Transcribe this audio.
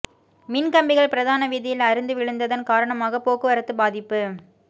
மின் கம்பிகள் பிரதான வீதியில் அறுந்து விழுந்ததன் காரணமாக போக்குவரத்து பாதிப்பு